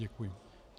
Děkuji.